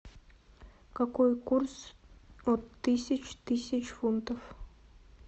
какой курс от тысяч тысяч фунтов